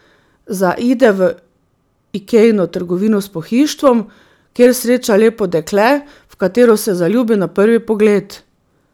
Zaide v Ikejino trgovino s pohištvom, kjer sreča lepo dekle, v katero se zaljubi na prvi pogled.